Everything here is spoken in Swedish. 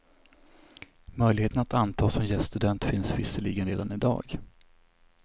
Möjligheten att antas som gäststudent finns visserligen redan i dag.